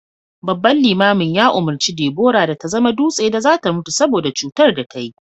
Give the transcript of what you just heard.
babban limamin ya umurci Debora da ta zama dutse da za ta mutu saboda cutar da ta yi